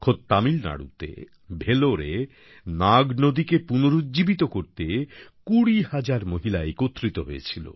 খোদ তামিলনাড়ুতে ভেলোরে নাগ নদীকে পুনরুজ্জীবিত করতে ২০ হাজার মহিলা একত্রিত হয়েছিল